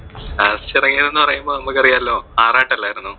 last എറങ്ങിയതെന്നു പറയുമ്പോൾ നമുക്ക് അറിയാലോ ആറാട്ട് അല്ലായിരുന്നോ?